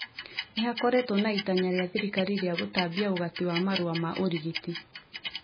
Nĩhakoretwo na itanya rĩa thirikari rĩa gũtambia ũgati wa marũa ma ũrigiti